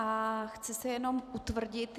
A chci se jenom utvrdit.